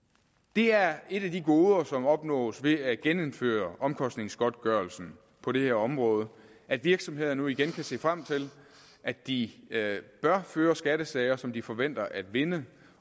det er et af de goder som opnås ved at genindføre omkostningsgodtgørelsen på det her område at virksomheder nu igen kan se frem til at de bør føre skattesager som de forventer at vinde